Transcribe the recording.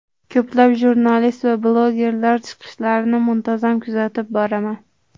Ko‘plab jurnalist va blogerlar chiqishlarini muntazam kuzatib boraman.